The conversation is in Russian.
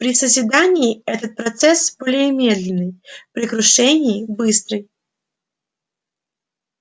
при созидании это процесс более медленный при крушении быстрый